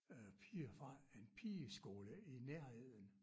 Øh piger fra en pigeskole i nærheden